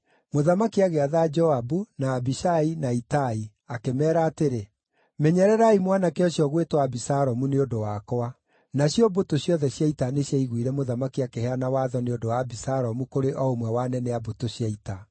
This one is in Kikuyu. Mũthamaki agĩatha Joabu, na Abishai, na Itai, akĩmeera atĩrĩ, “Menyererai mwanake ũcio ũgwĩtwo Abisalomu nĩ ũndũ wakwa.” Nacio mbũtũ ciothe cia ita nĩciaiguire mũthamaki akĩheana watho nĩ ũndũ wa Abisalomu kũrĩ o ũmwe wa anene a mbũtũ cia ita.